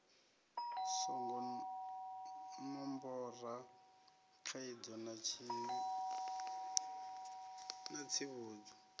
songo ṋombora khaidzo na tsivhudzo